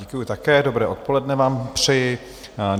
Děkuju také, dobré odpoledne vám přeji.